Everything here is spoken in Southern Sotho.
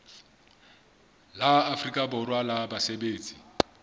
la afrika borwa la basebetsi